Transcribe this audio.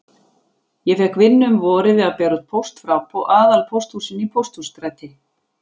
Ég fékk vinnu um vorið við að bera út póst frá aðalpósthúsinu í Pósthússtræti.